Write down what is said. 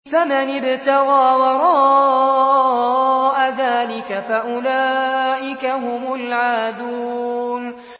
فَمَنِ ابْتَغَىٰ وَرَاءَ ذَٰلِكَ فَأُولَٰئِكَ هُمُ الْعَادُونَ